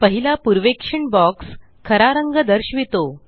पहिला पूर्वेक्षण बॉक्स खरा रंग दर्शवितो